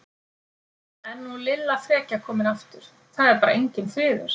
Er nú Lilla frekja komin aftur, það er bara enginn friður!